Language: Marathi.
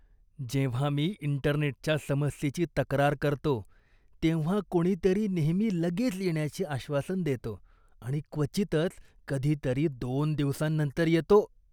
जेव्हा मी इंटरनेटच्या समस्येची तक्रार करतो तेव्हा कोणीतरी नेहमी लगेच येण्याचे आश्वासन देतो आणि क्वचितच कधीतरी दोन दिवसांनंतर येतो.